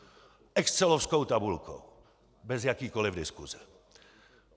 Excelovskou tabulkou bez jakékoliv diskuse.